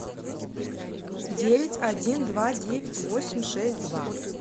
девять один два девять восемь шесть два